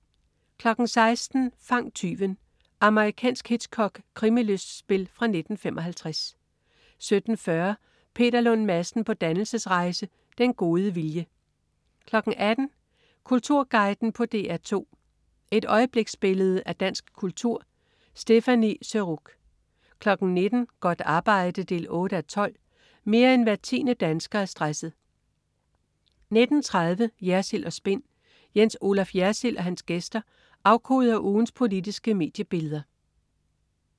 16.00 Fang tyven. Amerikansk Hitchcock-krimilystspil fra 1955 17.40 Peter Lund Madsen på dannelsesrejse. Den gode vilje 18.00 Kulturguiden på DR2. Et øjebliksbillede af dansk kultur. Stéphanie Surrugue 19.00 Godt arbejde 8:12. Mere end hver 10. dansker er stresset 19.30 Jersild & Spin. Jens Olaf Jersild og hans gæster afkoder ugens politiske mediebilleder